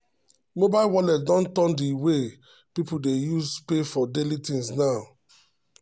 mobile wallet don turn the way people dey um pay for daily things new new.